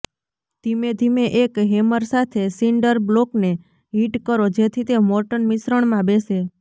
ધીમેધીમે એક હેમર સાથે સિન્ડર બ્લોકને હિટ કરો જેથી તે મોર્ટર મિશ્રણમાં બેસે